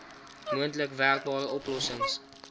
moontlik werkbare oplossings